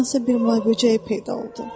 hardansa bir mayböcəyi peyda oldu.